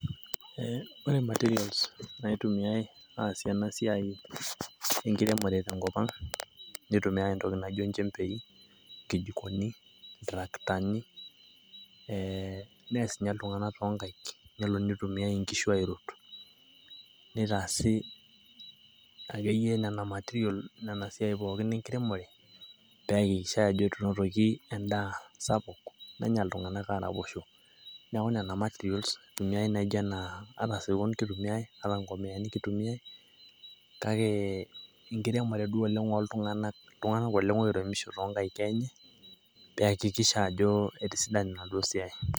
ore ntokitin nikintumiya iyiok tenkopang naa ilchembei, ikijikoni, iltarakitani, nakitumiyai sii siniche inkaik, atasirkon kitumiyai onkomiyani , pee etumi edaa sapuk nanyai .